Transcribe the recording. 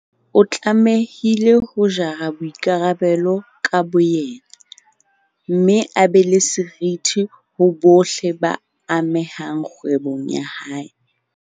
O tlamehile ho jara boikarabelo ka boyena, mme a be le seriti ho bohle ba amehang kgwebong ya hae.